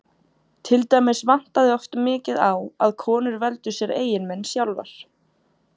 Til dæmis vantaði oft mikið á að konur veldu sér eiginmenn sjálfar.